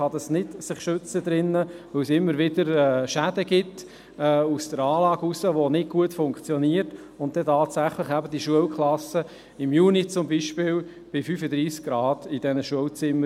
Man kann sich drinnen nicht schützen, weil es immer wieder Schäden an der Anlage gibt, sodass diese nicht gut funktioniert, und die Temperaturen in den Schulzimmern tatsächlich – zum Beispiel im Juni – bei 35 Grad liegen.